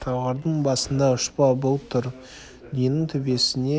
талғардың басында ұшпа бұлт тұр дүниенің төбесіне